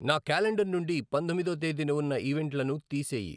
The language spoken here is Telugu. నా క్యాలెండర్ నుండి పందొమ్మిదో తేదీన ఉన్న ఈవెంట్లను తీసెయ్యి.